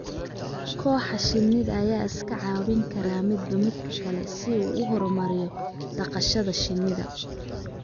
Kooxaha shinnida ayaa iska caawin kara midba midka kale si uu u horumariyo dhaqashada shinnida.